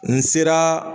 N sera